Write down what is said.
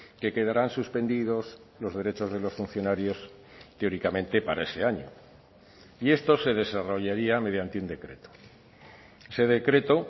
que quedarán suspendidos los derechos de los funcionarios teóricamente para ese año y esto se desarrollaría mediante un decreto ese decreto